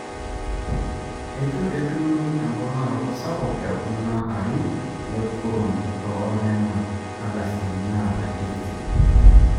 eitu etumi emponaroto sapuk te kula arin le kurum too nena ardasini naalakieki sipitali